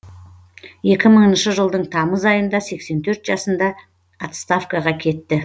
екі мыңыншы жылдың тамыз айында сексен төрт жасында отставкаға кетті